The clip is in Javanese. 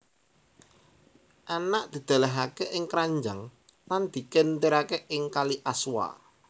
Anak didelehake ing kranjang lan dikentirake ing kali Aswa